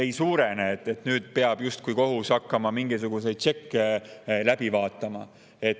kohus justkui peab nüüd hakkama mingisuguseid tšekke läbi vaatama.